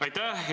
Aitäh!